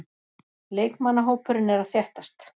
Leikmannahópurinn er að þéttast.